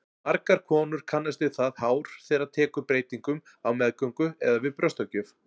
Margar konur kannast við það hár þeirra tekur breytingum á meðgöngu eða við brjóstagjöf.